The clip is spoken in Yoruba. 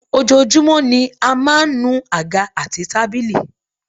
Ojoojúmọ́ ni a máa ń nu àga àti tábìlì